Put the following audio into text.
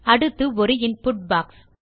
அடுத்து ஒரு input box